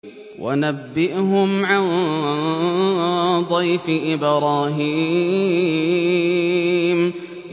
وَنَبِّئْهُمْ عَن ضَيْفِ إِبْرَاهِيمَ